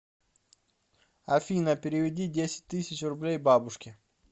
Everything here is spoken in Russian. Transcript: афина переведи десять тысяч рублей бабушке